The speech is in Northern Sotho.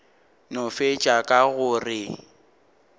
no fetša ka go re